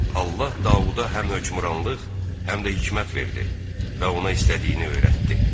Allah Davuda həm hökmranlıq, həm də hikmət verdi və ona istədiyini öyrətdi.